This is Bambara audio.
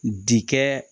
Dikɛ